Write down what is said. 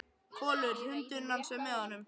Kolur, hundurinn hans, er með honum.